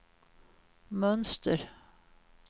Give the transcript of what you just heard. mönster